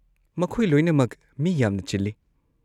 ꯃꯈꯣꯏ ꯂꯣꯏꯅꯃꯛ ꯃꯤ ꯌꯥꯝꯅ ꯆꯤꯜꯂꯤ꯫